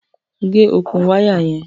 Gẹ̀ ọkùn wàya yẹn!